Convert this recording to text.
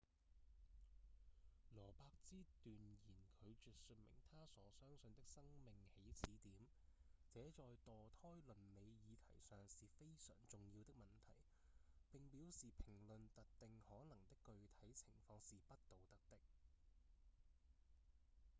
羅伯茲斷然拒絕說明他所相信的生命起始點這在墮胎倫理議題上是非常重要的問題並表示評論特定可能的具體情況是不道德的